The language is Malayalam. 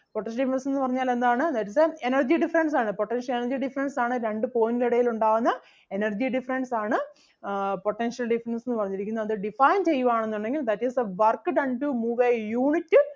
potential difference എന്ന് പറഞ്ഞാൽ എന്താണ് that is the energy difference ആണ് potential energy difference ആണ് രണ്ടു point ന് എടയിലുണ്ടാവുന്ന energy difference ആണ് ആഹ് potential difference എന്ന് പറഞ്ഞിരിക്കുന്നത്. അത് define ചെയ്യുവാണെന്നുണ്ടെങ്കിൽ that is the work done to move a unit